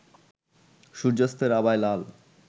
সূর্যাস্তের আভায় লাল